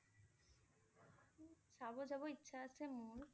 চাব যাব ইচ্ছা আছে মোৰ!